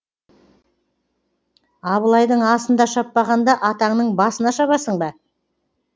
абылайдың асында шаппағанда атаңның басында шабасың ба